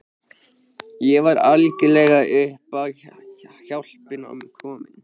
Ég var algjörlega upp á hjálpina komin.